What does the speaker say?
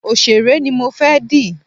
Òsèré ni mo fẹ́ dì